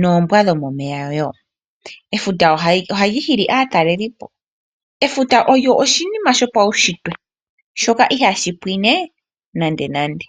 noombwa dhomomeya woo. Efuta ohali hili aatalelipo. Efuta olyo oshinima shopaunshitwe shoka ihaashi pwine nandenande.